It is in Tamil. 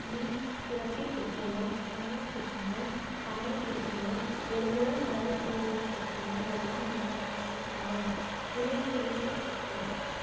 முன்சுரப்பி புற்றுநோய், இணையப் புற்றுநோய், கணையப் புற்றுநோய், பெருங்குடல் மலலுக்குரிய புற்று நோய் எல்லாம் இந்த வகையையே சாரும். இணைப்பிழையே புற்றுநோய்